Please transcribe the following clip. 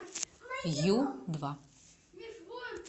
ю два